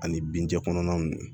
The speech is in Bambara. Ani bin jɛ kɔnɔna ninnu